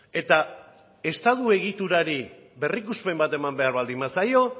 eta estatu egiturari berrikuspen bat eman behar baldin bazaio